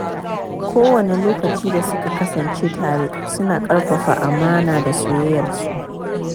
Kowanne lokaci da suka kasance tare, suna ƙarfafa amana da soyayyarsu.